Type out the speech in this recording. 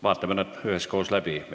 Vaatame nad üheskoos läbi.